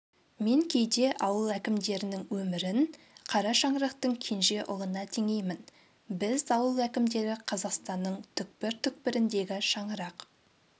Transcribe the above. мен кейде ауыл әкімдерінің өмірін қара шаңырақтың кенже ұлына теңеймін біз ауыл әкімдері қазақстанның түкпір-түкпіріндегі шаңырақ